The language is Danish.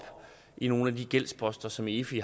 i nogle af de gældsposter som efi